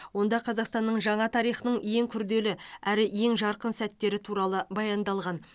онда қазақстанның жаңа тарихының ең күрделі әрі ең жарқын сәттері туралы баяндалған